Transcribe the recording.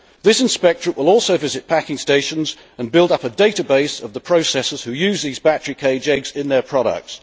This inspectorate will also visit packing stations and build up a database of the processors who use these battery cage eggs in their products.